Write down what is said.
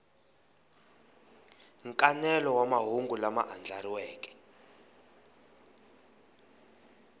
nkanelo wa mahungu lama andlariweke